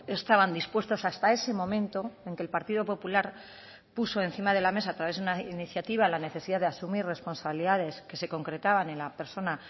estaban dispuestos hasta ese momento aunque el partido popular puso encima de la mesa a través de una iniciativa la necesidad de asumir responsabilidades que se concretaban en la persona